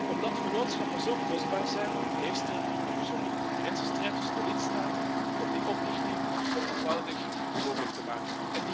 Omdat vennootschappen zo kostbaar zijn, heerst er een gezonde concurrentiestrijd tussen de lidstaten om die oprichting zo eenvoudig mogelijk te maken.